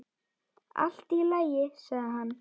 Allt í lagi, sagði hann.